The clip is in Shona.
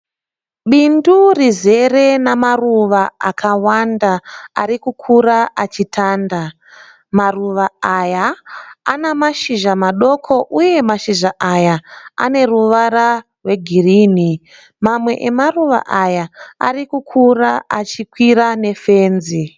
Bindu rizere namaruva akawanda arikukura achitanda. Maruva aya ana mashizha madoko uye mashizha aya ane ruvara rwe girinhi. Mamwe emaruva aya arikukura achikwira ne fenzi.